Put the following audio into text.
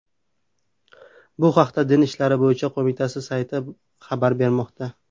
Bu haqda Din ishlari bo‘yicha qo‘mita sayti xabar bermoqda .